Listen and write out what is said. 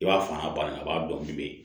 I b'a fan baara dɔɔnin bɛ yen